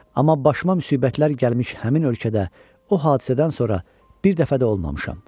Amma başıma müsibətlər gəlmiş həmin ölkədə, o hadisədən sonra bir dəfə də olmamışam.